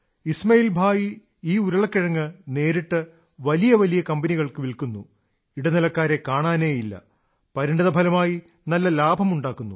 ഇസ്മാഇൽ ഭായി ഈ ഉരുളക്കിഴങ്ങ് നേരിട്ട് വലിയ വലിയ കമ്പനികൾക്ക് വില്ക്കുന്നു ഇടനിലക്കാരെ കാണാനേയില്ല പരിണതഫലമായി നല്ല ലാഭമുണ്ടാക്കുന്നു